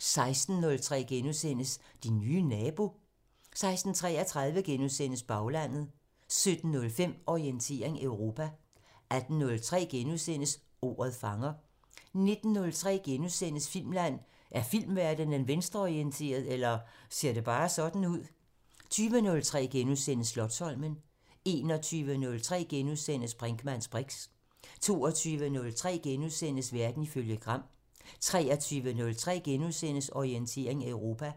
16:03: Din nye nabo? 16:33: Baglandet * 17:05: Orientering Europa 18:03: Ordet fanger * 19:03: Filmland: Er filmverdenen venstreorienteret – eller ser det bare sådan ud? * 20:03: Slotsholmen * 21:03: Brinkmanns briks * 22:03: Verden ifølge Gram * 23:03: Orientering Europa